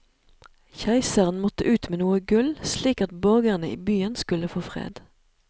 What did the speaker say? Keiseren måtte ut med noe gull, slik at borgerne i byen skulle få fred.